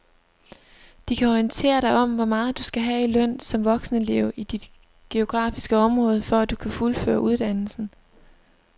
De kan orientere dig om hvor meget du skal have i løn som voksenelev i dit geografiske område, for at du kan fuldføre uddannelsen.